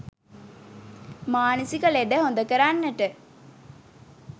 මානසික ලෙඩ හොඳ කරන්නට